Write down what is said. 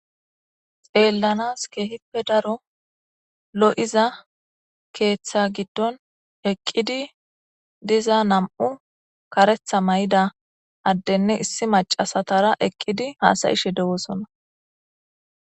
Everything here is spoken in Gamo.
xeellanas keehippe daro lo7iza keeththa giddon eqqidi diza nam7u karetha may7ida addenne issi macasatara eqqidi haasayishe dewosonna